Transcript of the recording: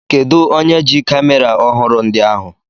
Kedụ onye ji kamera ọhụrụ ndị ahụ?